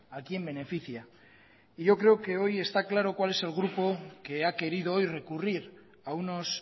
a quién beneficia yo creo que hoy está claro cuál es el grupo que ha querido hoy recurrir a unos